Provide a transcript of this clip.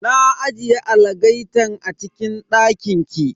Na ajiye algaitan a cikin dakin ki.